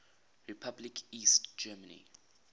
republic east germany